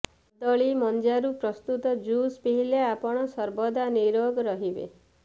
କଦଳୀ ମଞ୍ଜାରୁ ପ୍ରସ୍ତୁତ ଜୁସ୍ ପିଇଲେ ଆପଣ ସର୍ବଦା ନିରୋଗ ରହିବେ